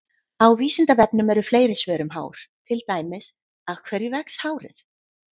Á Vísindavefnum eru fleiri svör um hár, til dæmis: Af hverju vex hárið?